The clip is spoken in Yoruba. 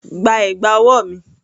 Gba ẹ̀gbà ọwọ́ mi!